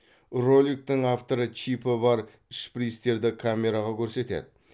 роликтің авторы чипі бар шприцтерді камераға көрсетеді